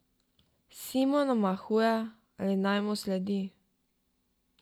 Simon omahuje, ali naj mu sledi.